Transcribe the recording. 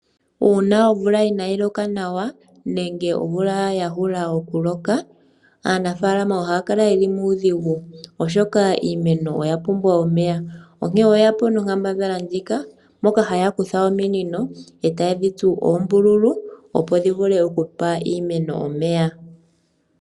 Uuna omvula inaayi loka nawa nenge ya omvula ya hula oku loka aanafaalama ohaya kala yeli muudhigu, oshoka iimeno oya pumbwa omeya, onkene oyeya po no kambadhala ndjika moka haya kutha ominino etaye dhi tsu oombululu opo dhi vule okupa iimeno omeya.